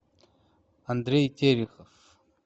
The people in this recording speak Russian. андрей терехов